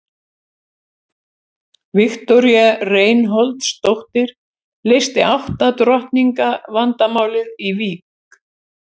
Viktoría Reinholdsdóttir leysti átta drottninga vandamálið í Vík.